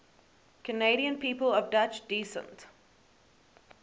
canadian people of dutch descent